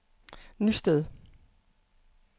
Nysted